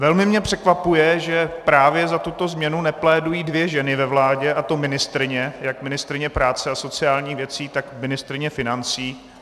Velmi mě překvapuje, že právě za tuto změnu neplédují dvě ženy ve vládě, a to ministryně - jak ministryně práce a sociálních věcí, tak ministryně financí.